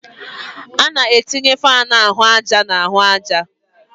A na-etinye fáan ahụ àjà na ahụ àjà